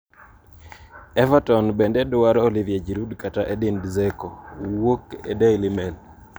Everton bende dwaro Olivier Giroud kata Edin Dzeko ( wuok e Daily Mail).